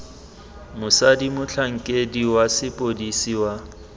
mosadi motlhankedi wa sepodisi wa